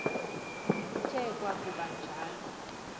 kuthe kwakuba njalo